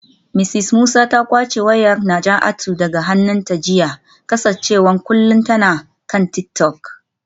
Mrs Musa ta kwace wayar Najatu daga hannunta jiya kasancewar kullum tana kan tik-tok.